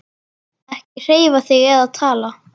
Ekki hreyfa þig eða tala.